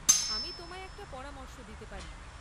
আমি তোমায় একটা পরামর্শ দিতে পারি।